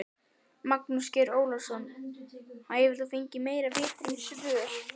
Magnús Geir Eyjólfsson: Hefur þú fengið einhver vitræn svör?